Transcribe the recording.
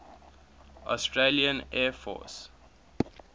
australian air force